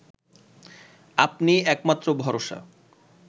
আপনিই একমাত্র ভরসা